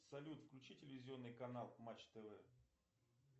салют включи телевизионный канал матч тв